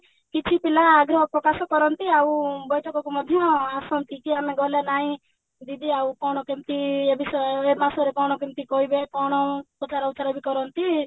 କିଛି ପିଲା ଆଗ୍ରହ ପ୍ରକାଶ କରନ୍ତି ଆଉ ବୈଠକକୁ ମଧ୍ୟ ଆସନ୍ତି କି ଆମେ ଗଲେ ନାଇଁ ଦିଦି ଆଉ କଣ କେମିତି ଏଇ ବିଷୟରେ ମାସରେ କଣ କେମିତି କହିବେ କଣ ପଚରା ଉଚରା ବି କରନ୍ତି